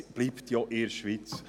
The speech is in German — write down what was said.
Es bleibt ja in der Schweiz.